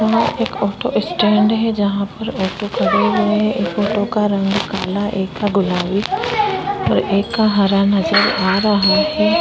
और एक auto stand है। जहां पर ऑटो खड़े हुए हैं। एक ऑटो का रंग काला एक का गुलाबी और एक का हरा नज़र आ रहा है।